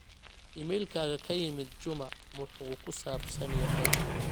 iimaylkayga ka yimid juma muxuu ku saabsan yahay